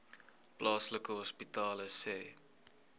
plaaslike hospitale sê